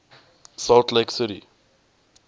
salt lake city